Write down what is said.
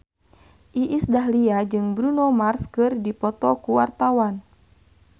Iis Dahlia jeung Bruno Mars keur dipoto ku wartawan